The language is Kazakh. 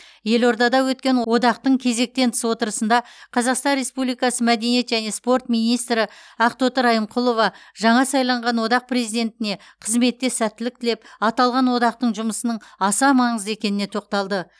елордада өткен одақтың кезектен тыс отырысында қазақстан республикасы мәдениет және спорт министрі ақтоты райымқұлова жаңа сайланған одақ президентіне қызметте сәттілік тілеп аталған одақтың жұмысының аса маңызды екеніне тоқталды